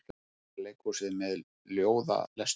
Borgarleikhúsið með ljóðalestur